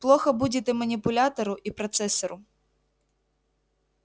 плохо будет и манипулятору и процессору